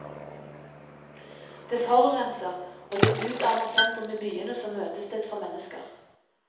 Det forurenser, og det utarmer sentrum i byene som møtested for mennesker.